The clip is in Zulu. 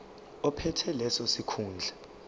ophethe leso sikhundla